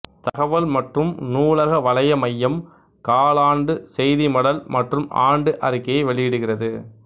தகவல் மற்றும் நூலக வலைய மையம் காலாண்டு செய்தி மடல் மற்றும் ஆண்டு அறிக்கையை வெளியிடுகிறது